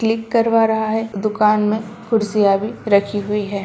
Click करवा रहा है दुकान में कुर्सियां भी रखी हुई है।